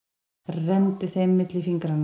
Renndi þeim milli fingranna.